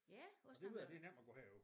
Ja også når man